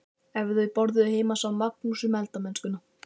Ef þau borðuðu heima sá Magnús um eldamennskuna.